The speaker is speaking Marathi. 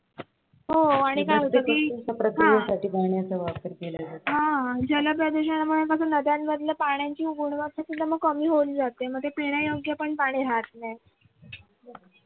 हा जलप्रदूषणामुळे नद्यांमधलं पान्याची सुद्धा गुणवत्ता कमी होऊन जाते मग ते पिण्यायोग्य पण पाणी राहत नाही.